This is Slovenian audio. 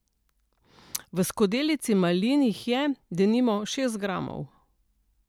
V skodelici malin jih je, denimo, šest gramov.